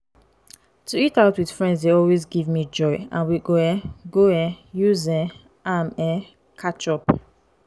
to eat out with friends dey always give joy and we go um go um use um am um catch up.